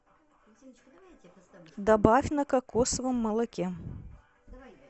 добавь на кокосовом молоке